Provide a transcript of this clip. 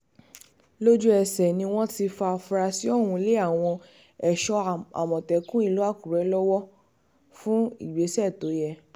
lójú-ẹsẹ̀ ni wọ́n ti fa afurasí ọ̀hún lé àwọn ẹ̀ṣọ́ àmọ̀tẹ́kùn ìlú àkùrẹ́ lọ́wọ́ fún ìgbésẹ̀ tó yẹ